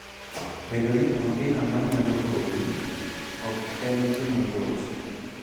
Bedo ni onge ng'ama nyalo hoyi, ok en gima yot.